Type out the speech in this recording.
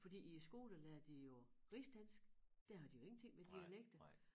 Fordi i æ skole lærer de jo rigsdansk der har de jo ingenting med dialekter